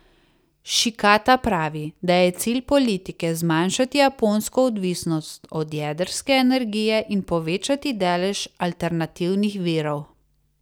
Šikata pravi, da je cilj politike zmanjšati japonsko odvisnost od jedrske energije in povečati delež alternativnih virov.